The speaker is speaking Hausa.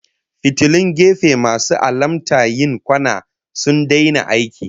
Fitilun gefe masu alamta yin kwana sun daina aiki